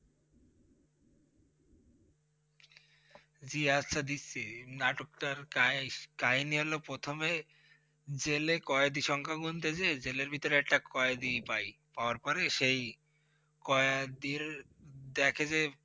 জি আচ্ছা দিচ্ছি! নাটকটার কাহিনি হল প্রথমে জেলে কয়েদি সংখ্যা গুণতে যেয়ে জেলের ভিতরে একটা কয়েদি পাই। পাওয়ার পরে, সেই কয়েদির দেখে যে